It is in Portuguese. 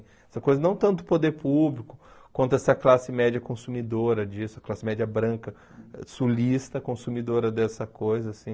Essa coisa não tanto do poder público quanto essa classe média consumidora disso, a classe média branca sulista, consumidora dessa coisa, assim.